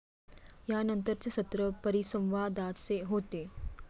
यानंतरचे सत्र परिसंवादाचे होते.